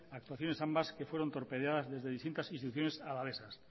actuaciones ambas que fueron torpedeadas desde distintas instituciones alavesas